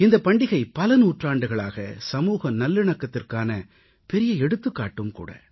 இந்தப் பண்டிகை பல நூற்றாண்டுகளாக சமூக நல்லிணக்கத்திற்கான பெரிய எடுத்துக்காட்டும்கூட